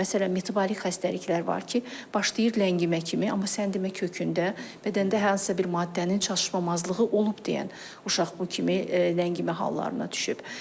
Məsələn, metabolik xəstəliklər var ki, başlayır ləngimə kimi, amma sən demə kökündə bədəndə hansısa bir maddənin çatışmamazlığı olub deyən uşaq bu kimi ləngimə hallarına düşüb.